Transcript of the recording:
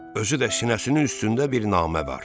Özü də sinəsinin üstündə bir namə var.